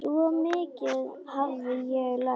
Svo mikið hafði ég lært.